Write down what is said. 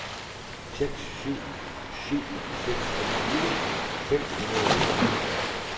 fire seks syv syv seksogtyve fem hundrede og enogfirs